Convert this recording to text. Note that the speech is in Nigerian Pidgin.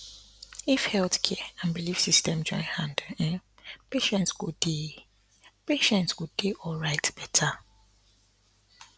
um if health care and belief system join hand um patients go dey patients go dey alright better